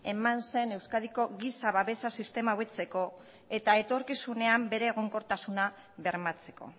eman zen euskadiko giza babesa sistema hobetzeko eta etorkizunean bere egonkortasuna bermatzeko